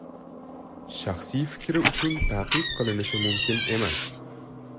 Shaxsiy fikri uchun ta’qib qilish mumkin emas.